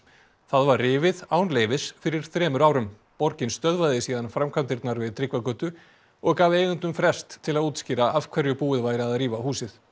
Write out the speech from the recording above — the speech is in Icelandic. það var rifið án leyfis fyrir þremur árum borgin stöðvaði síðan framkvæmdirnar við Tryggvagötu og gaf eigendum frest til að útskýra af hverju búið væri að rífa húsið